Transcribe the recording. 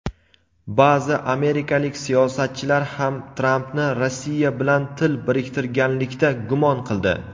Ba’zi amerikalik siyosatchilar ham Trampni Rossiya bilan til biriktirganlikda gumon qildi.